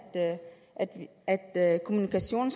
at kommunikationen